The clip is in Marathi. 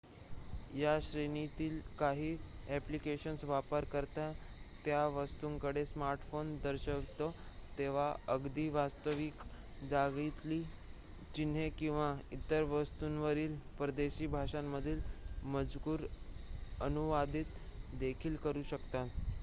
या श्रेणीतील काही ॲप्लिकेशन्स वापरकर्ता त्या वस्तूंकडे स्मार्टफोन दर्शवितो तेव्हा अगदी वास्तविक जगातील चिन्हे किंवा इतर वस्तूंवरील परदेशी भाषांमधील मजकूर अनुवादित देखील करू शकतात